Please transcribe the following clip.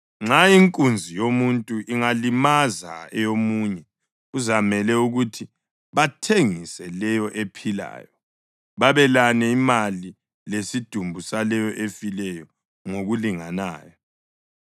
Nxa inkunzi yomuntu ingalimaza eyomunye kuzamele ukuthi bathengise leyo ephilayo, babelane imali lesidumbu saleyo efileyo ngokulinganayo.